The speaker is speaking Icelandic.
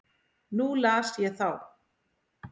Nú las ég þá.